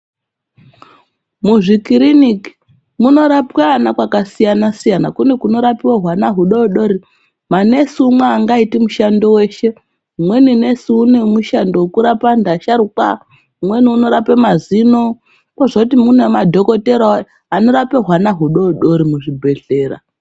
Muzvikiriniki munorapwe ana kwakasiya-siyana, kune kunorapiwe hwana hudoodori. Manesi umwe aangaiti mushando weshe. Umweni nesi une mushando wekurapa antu asharukwa, umweni unorape mazino, kozoti mune madhokotherawo anorape hwana hudoodori muzvibhedhlera.